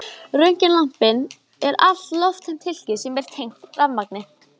Röntgenlampinn er lofttæmt hylki sem er tengt rafmagni.